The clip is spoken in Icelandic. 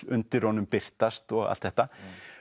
undir honum birtast og allt þetta